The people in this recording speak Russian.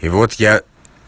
и вот я